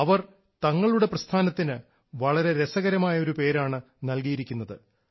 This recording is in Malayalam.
അവർ തങ്ങളുടെ പ്രസ്ഥാനത്തിന് വളരെ രസകരമായ ഒരു പേരാണ് നൽകിയിരിക്കുന്നത്